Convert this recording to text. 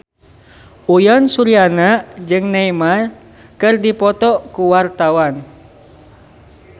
Uyan Suryana jeung Neymar keur dipoto ku wartawan